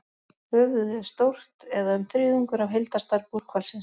Höfuðið er stórt, eða um þriðjungur af heildarstærð búrhvalsins.